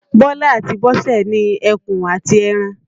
Bísọ́lá àti Bọ́sẹ̀ ni ẹkùn àti ẹran.